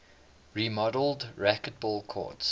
remodeled racquetball courts